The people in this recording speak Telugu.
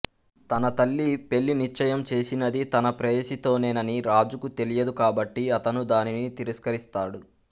తన తల్లి పెళ్ళి నిశ్చయం చేసినది తన ప్రేయసితోనేనని రాజుకు తెలియదు కాబట్టి అతను దానిని తిరస్కరిస్తాడు